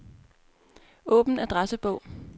Åbn adressebog.